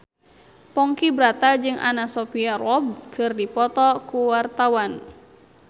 Ponky Brata jeung Anna Sophia Robb keur dipoto ku wartawan